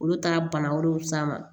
Olu taara bana wɛrɛw s'a ma